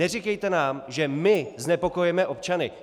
Neříkejte nám, že my znepokojujeme občany.